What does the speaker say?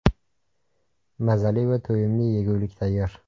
Mazali va to‘yimli yegulik tayyor.